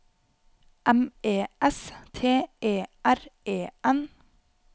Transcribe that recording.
M E S T E R E N